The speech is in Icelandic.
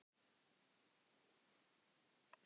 Þetta er samt satt sem ég er að segja